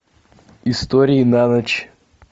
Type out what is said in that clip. истории на ночь